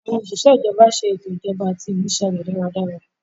Àwọn osise ijọba ṣe ètò ijọba àti ìmúṣẹ rẹ̀ dáradára